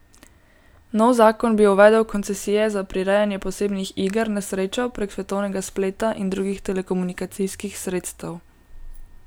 Nov zakon bi uvedel koncesije za prirejanje posebnih iger na srečo prek svetovnega spleta in drugih telekomunikacijskih sredstev.